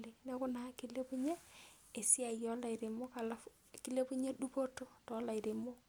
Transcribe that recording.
nepiki peemeinyala oleng kilepunye dupoto too ilairemok.